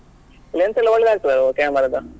Lens ಎಲ್ಲ ಒಳ್ಳೇದ್ ಹಾಕ್ತನಲ್ಲ camera ದ.